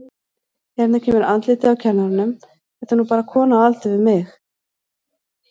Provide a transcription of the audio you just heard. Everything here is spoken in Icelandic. Hérna kemur andlitið á kennaranum, þetta er nú bara kona á aldur við mig.